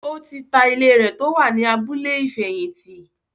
ó ti ta ilé rẹ̀ tó wà ní “ abúlé ìfẹ̀yìntì”.